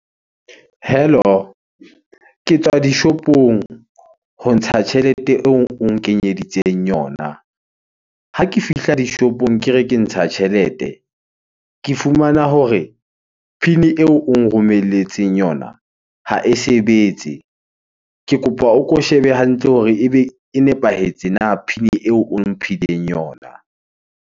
Hello? Ke tswa dishopong ho ntsha tjhelete eo o nkenyeditseng yona. Ha ke fihla dishopong ke re ke ntsha tjhelete, ke fumana hore PIN eo o nromelletseng yona ha e sebetse. Ke kopa o ko shebe hantle hore ebe e nepahetse na PIN eo o mphileng yona?